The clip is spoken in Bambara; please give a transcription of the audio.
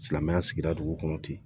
Silamɛya sigida dugu kɔnɔ ten